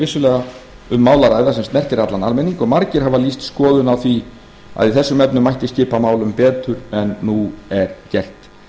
vissulega um mál að ræða sem snertir allan almenning og margir hafa lýst skoðun á því að í þessum efnum mætti skipa málum betur en nú er gert